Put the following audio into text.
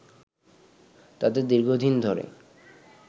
তাদের দীর্ঘদিন ধরে